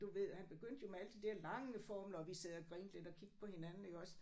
Du ved han begyndte jo med alle de der lange formler og vi sad og grinte lidt og kiggede på hinanden iggås